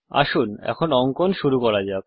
আসুন এখন অঙ্কন শুরু করা যাক